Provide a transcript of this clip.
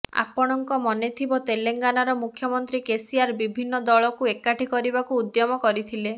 ଆପଣଙ୍କ ମନେଥିବ ତେଲେଙ୍ଗାନର ମୁଖ୍ୟମନ୍ତ୍ରୀ କେସିଆର ବିଭିନ୍ନ ଦଳକୁ ଏକାଠି କରିବାକୁ ଉଦ୍ୟମ କରିଥିଲେ